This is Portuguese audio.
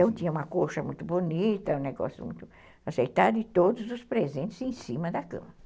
Então tinha uma coxa muito bonita, um negócio muito aceitável e todos os presentes em cima da cama.